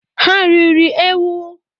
Ha riri ewu?